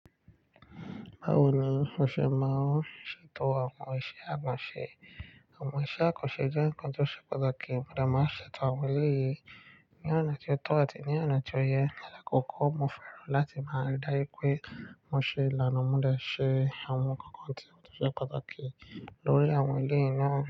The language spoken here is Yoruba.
Báwo ni mo ṣe máa ṣètò àwọn iṣẹ́ àkànṣe? Àwọn iṣẹ́ àkànṣe jẹ́ nǹkan tó ṣe pàtàkì. Mo gbodo máa ṣètò àwọn eléyìí ní ọ̀nà tí ó tọ́ àti ní ọ̀nà tí ó yẹ. Ni ala kọ́ kọ́, mo fẹ́ràn láti máa ríi dájú pé mo ṣe ìlànà modẹ̀ ṣe àwọn nkankan tí ó ṣe pàtàkì lórí àwọn ilé yen náà.